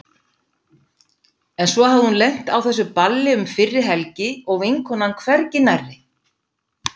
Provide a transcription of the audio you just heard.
En svo hafði hún lent á þessu balli um fyrri helgi og vinkonan hvergi nærri.